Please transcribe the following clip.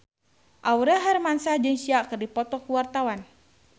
Aurel Hermansyah jeung Sia keur dipoto ku wartawan